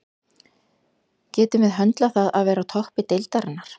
Hvert er þá vandamálið?